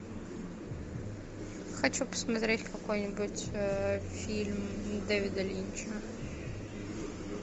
хочу посмотреть какой нибудь фильм дэвида линча